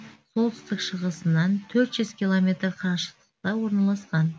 солтүстік шығысынан төрт жүз километр қашықтықта орналасқан